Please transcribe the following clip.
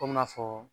Komi n'a fɔ